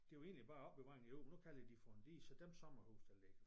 Det var egentlig bare opbevaring af jord men nu kalder de for en dige som dem sommerhuse der ligger